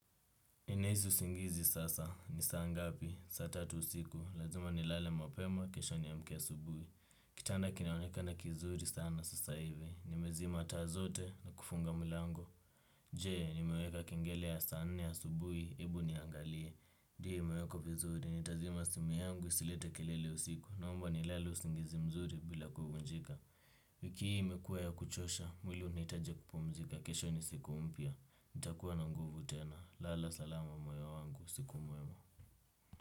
Ninahisi usingizi sasa, ni saa ngapi, saa tatu usiku, lazima nilale mapema, kesho niamke asubuhi. Kitanda kinaonekana kizuri sana sasa hivi, nimezima taa zote na kufunga mlango. Je, nimeweka kengele ya saa nne asubuhi? Hebu niangalie. Ndiyo, imewekwa vizuri, nitazima simu yangu, isilete kelele usiku, naomba nilale usingizi mzuri bila kuvunjika. Wiki hii imekuwa ya kuchosha, mwili unahitaji kupumzika, ksho ni siku mpya. Nitakuwa na nguvu tena lala salama moyo wangu, usiku mwema.